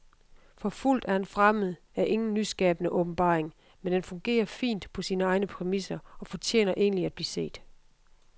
Forfulgt af en fremmed er ingen nyskabende åbenbaring, men den fungerer fint på sine egne præmisser og fortjener egentlig at blive set.